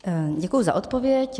Děkuji za odpověď.